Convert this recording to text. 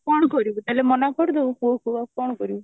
କଣ କରିବୁ ତାହେଲେ ମନା କରିଦବୁ ପୁଅକୁ ତୁ ଆଉ କଣ କରିବୁ